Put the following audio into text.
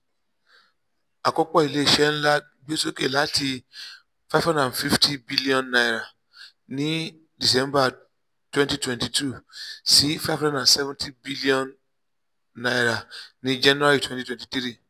akopọ ilé iṣẹ nlá gbesoke láti n five hundred fifty billion ní december twenty twenty two sí n five hundred seventy billion ní january twenty twenty three.